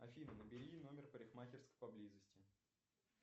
афина набери номер парикмахерской поблизости